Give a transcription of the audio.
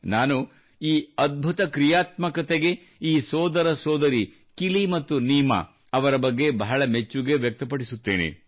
ನಾನು ಈ ಅದ್ಭುತ ಕ್ರಿಯಾತ್ಮಕತೆಗೆ ಈ ಸೋದರ ಸೋದರಿ ಕಿಲಿ ಮತ್ತು ನೀಮಾ ಅವರ ಬಗ್ಗೆ ಬಹಳ ಮೆಚ್ಚುಗೆ ವ್ಯಕ್ತಪಡಿಸುತ್ತೇನೆ